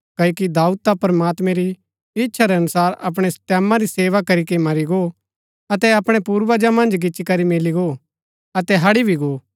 क्ओकि दाऊद ता प्रमात्मैं री इच्छा रै अनुसार अपणै टैमां री सेवा करीके मरी गो अतै अपणै पूर्वजा मन्ज गिच्ची करी मिली गो अतै हड़ी भी गो